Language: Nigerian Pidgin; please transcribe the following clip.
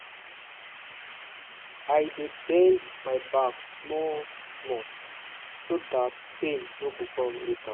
. i dey bend my back small-small so that pain no go come later.